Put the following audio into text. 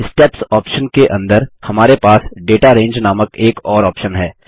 steps option के अंदर हमारे पास दाता रंगे नामक एक और ऑप्शन है